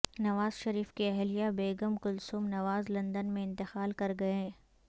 نواز شریف کی اہلیہ بیگم کلثوم نواز لندن میں انتقال کر گئیں